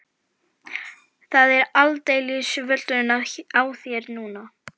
Það er aldeilis völlurinn á þér núna!